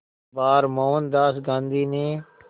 बार मोहनदास गांधी ने